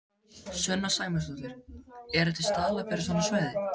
Sunna Sæmundsdóttir: Eru til staðlar fyrir svona svæði?